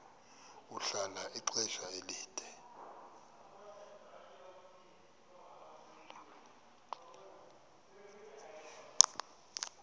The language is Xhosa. ahlala ixesha elide